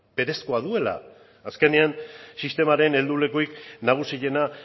berezkoa duela azkenean sistemaren heldulekurik nagusiena